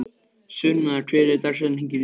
Sunna, hver er dagsetningin í dag?